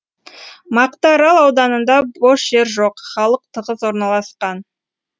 мақтаарал ауданында бос жер жоқ халық тығыз орналасқан